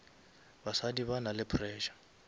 basadi ba nale pressure